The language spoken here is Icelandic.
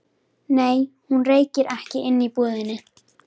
Nei, hún reykir ekki inni í búðinni.